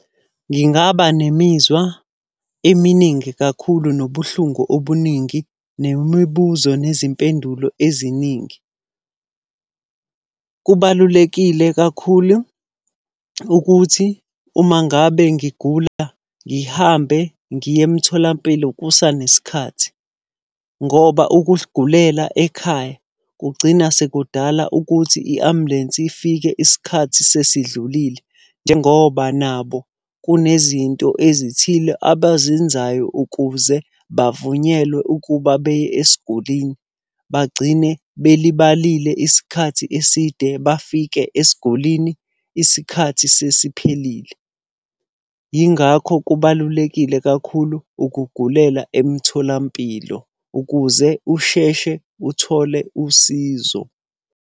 Ngingaba nemizwa eminingi kakhulu nobuhlungu obuningi, nemibuzo nezimpendulo eziningi. Kubalulekile kakhulu ukuthi uma ngabe ngigula ngihambe ngiye emtholampilo kusanesikhathi. Ngoba ukugulela ekhaya kugcina sekudala ukuthi i-ambulensi ifike isikhathi sesidlulile, njengoba nabo kunezinto ezithile abazenzayo ukuze bavunyelwe ukuba beye esigulini. Bagcine belibalile isikhathi eside, bafike esigulinii isikhathi sesiphelile. Yingakho kubalulekile kakhulu ukugulela emtholampilo ukuze usheshe uthole usizo.